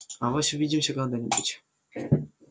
авось увидимся когда-нибудь